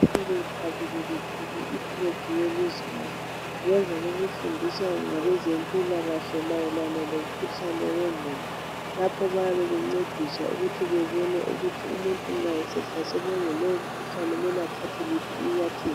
Bebethabile bethwele ifulegi yelizwe labo ngemva kokudundiswa ngabezempilakahle mayelana lomkhuhlane owengqondo lapho bayabe bencediswa ukuthi bebone ukuthi umuntu nxa sehlaselwe ngulowo mkhuhlane kumele athathe liphi inyathelo.